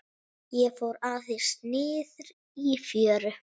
Ég fór aðeins niðrí fjöru.